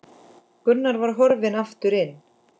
Gunnar var horfinn aftur inn.